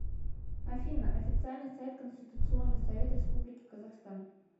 афина официальный сайт конституционный совет республики казахстан